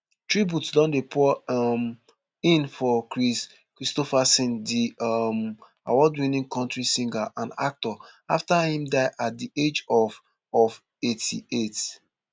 tributes don dey pour um in for kris kristofferson di um awardwinning country singer and actor afta im die at di age of of eighty-eight